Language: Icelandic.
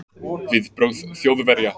Viðbrögð Þjóðverja